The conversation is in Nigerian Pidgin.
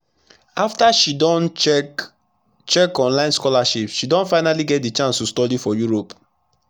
after she don check check online scholarship she don finally get d chance to study for europe